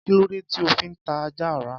Kí lóde tí óò fi ta ajá ra?